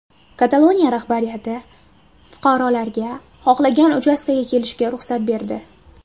Kataloniya rahbariyati fuqarolarga xohlagan uchastkaga kelishga ruxsat berdi.